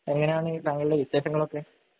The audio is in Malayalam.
എങ്ങനെയാണ് താങ്കളുടെ വിശേഷങ്ങളൊക്കെ?